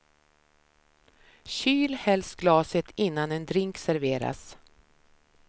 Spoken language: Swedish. Kyl helst glaset innan en drink serveras.